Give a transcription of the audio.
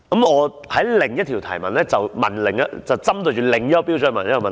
我的另一項提問，就是針對另一個標準而提問的。